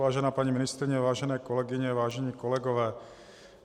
Vážená paní ministryně, vážené kolegyně, vážení kolegové.